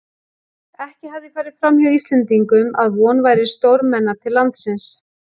Ekki hafði farið framhjá Íslendingum, að von væri stórmenna til landsins.